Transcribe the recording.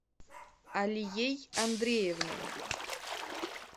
алией андреевной